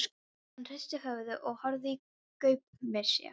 Hann hristi höfuðið og horfði í gaupnir sér.